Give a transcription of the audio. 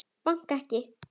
Bankar ekki.